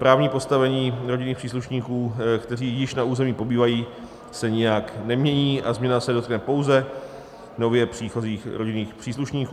Právní postavení rodinných příslušníků, kteří již na území pobývají, se nijak nemění a změna se dotkne pouze nově příchozích rodinných příslušníků.